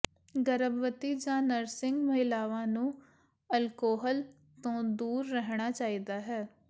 ਗਰਭਵਤੀ ਜਾਂ ਨਰਸਿੰਗ ਮਹਿਲਾਵਾਂ ਨੂੰ ਅਲਕੋਹਲ ਤੋਂ ਦੂਰ ਰਹਿਣਾ ਚਾਹੀਦਾ ਹੈ